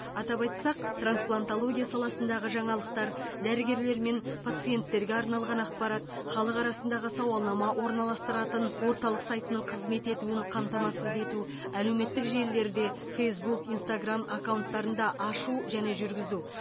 атап айтсақ трансплантология саласындағы жаңалықтар дәрігерлер мен пациенттерге арналған ақпарат халық арасындағы сауалнама орналастырылатын орталық сайтының қызмет етуін қамтамасыз ету әлеуметтік желілерде фейсбук инстаграмм аккаунттар ашу және жүргізу